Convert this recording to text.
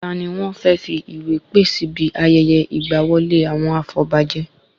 Tani wọ́n fẹ́ fí ìwé pè síbi ayẹyẹ ìgba wọlé àwọn afọbajẹ?